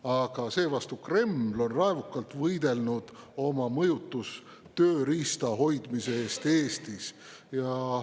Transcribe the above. Aga Kreml on raevukalt võidelnud oma mõjutustööriista hoidmise eest Eestis.